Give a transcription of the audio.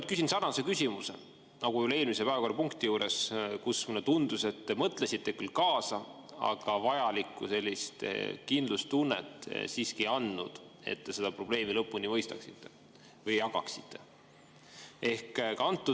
Ma küsin sarnase küsimuse nagu eelmise päevakorrapunkti juures, kus mulle tundus, et te mõtlesite küll kaasa, aga siiski ei andnud vajalikku kindlustunnet, et te seda probleemi lõpuni mõistaksite või jagaksite.